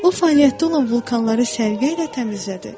O fəaliyyətdə olan vulkanları sərgilə təmizlədi.